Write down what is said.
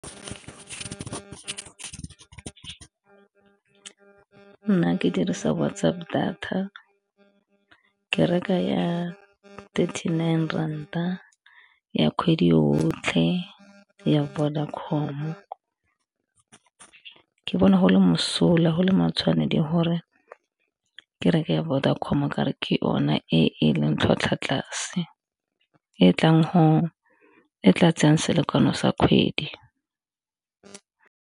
Nna ke dirisa WhatsApp data ke reka ya twenty nine rand a ya kgwedi yotlhe ya Vodacom, ke bona go le mosola go le matshwanedi gore ke reke Vodacom ka gore ke ona e e leng tlhwatlhwa tlase e tla tsayang selekano sa kgwedi.